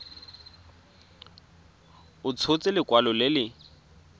a tshotse lekwalo le le